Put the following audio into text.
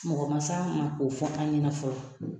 Mɔgɔ ma se an ma k'o fɔ an ɲɛna fɔlɔ